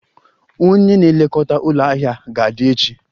Onye na-elekọta ụlọ ahịa ga-adị echi